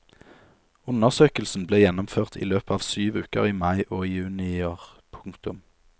Undersøkelsen ble gjennomført i løpet av syv uker i mai og juni i år. punktum